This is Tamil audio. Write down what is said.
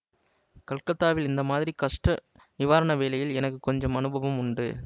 கல்கத்தாவில் இந்த மாதிரி கஷ்ட நிவாரண வேலையில் எனக்கு கொஞ்சம் அனுபவம் உண்டு